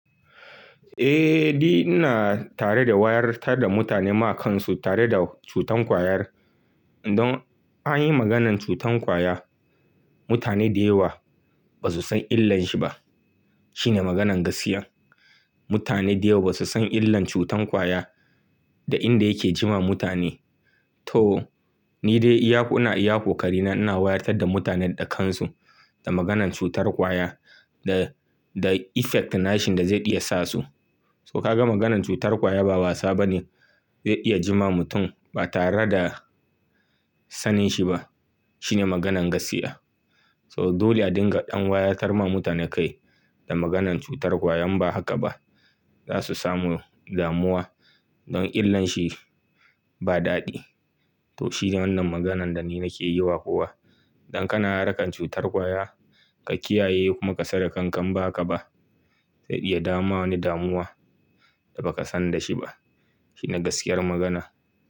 Eh, ni ina tare da wayar wa mutane kansu game da cutar kwayar. Don in anyi maganan cutar kwaya, mutane da yawa ba su san illan shi ba. Shine maganan gaskiya. Mutane da yawa ba su san illan cutar kwaya da inda yanda yake yiwa mutane. To ni dai ina iya kokari na, ina wayarwa da mutane kansu game da maganan cutar kwaya, da effect na shi inda zai iya sa su. So ka ga maganan cutar kwaya ba wasa bane. Zai iya jima mutum ba tare da sanin shi ba. Shine maganan gaskiya. So dole a dinga ɗan wayarwa mutane kai da maganan cutar kwaya, in ba haka ba za su samu damuwa don illan shi ba daɗi. To shine wannan maganan da ni nake yi wa kowa. Don kana harkar cutar kwaya, ka kiyaye kuma ka sani da kanka in ba haka ba. Zai iya jawo maka wani damuwa da ba ka san da shi ba. Shine gaskiyar magana.